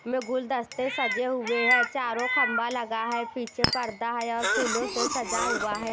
में गुलदस्ते सजे हुए हैं चारों खंभा लगा है पीछे पर्दा है और फूलों से सजा हुआ है।